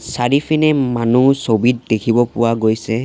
চাৰিফিনে মানুহ ছবিত দেখিব পোৱা গৈছে।